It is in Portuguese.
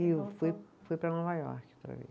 E eu fui fui para Nova York para ver.